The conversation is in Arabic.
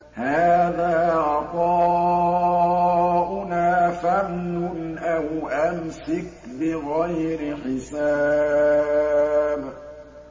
هَٰذَا عَطَاؤُنَا فَامْنُنْ أَوْ أَمْسِكْ بِغَيْرِ حِسَابٍ